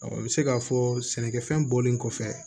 n bɛ se k'a fɔ sɛnɛkɛfɛn bɔlen kɔfɛ